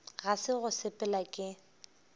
ga se go sepela ke